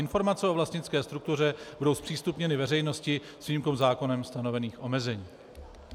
Informace o vlastnické struktuře budou zpřístupněny veřejnosti s výjimkou zákonem stanovených omezení.